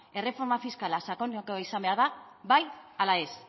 erreforma fiskala sakonekoa izan behar da bai ala ez